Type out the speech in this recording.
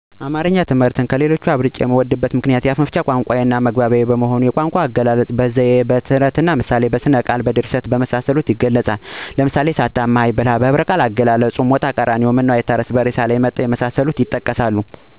አማረኛ ትምህርትን ምክንያቱም የአፍመፍቻ ቋንቋየም ስለሆነ እናየመግባቢያችን በመሆኑ። አብልጨ የወደድሁት የቋንቋአገላለጽ፣ ዘይዎች፣ ተረትና ምሳሌ፣ ሥነቃል፣ ሥነጽፎች፣ ድርሰቶች፣ ምሣሌዊንግግሮች ሌሎችም አሉ። ለምሳሌ ጅራፍእራሱ ገርፎ እራሱ ይጮሀል፣ ሳታማኸኝ ብላይ። በለሊትእየሄዱ ጅብን ንገርኝ ያደርጉታል የሚሉ የአገላለጽ ዘዴዎች ደስ ይሊኛል። በህብረቃል የተዘጉ ንግግሮች ለምሳሌ ሞጣቀራኒዮ ምነዉአይታረስ በሬሳላይ መጣሁ እነዚህ ንግግሮች ወይም ለምሳሌ የጠቀስኀቸዉና ሌሎችንም ደስይሉኛል።